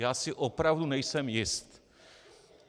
Já si opravdu nejsem jist.